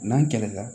N'an kɛlɛ la